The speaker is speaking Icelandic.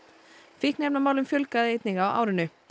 fíkniefnamálum fjölgaði einnig á árinu